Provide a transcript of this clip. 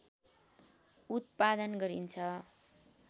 उत्पादन गरिन्छ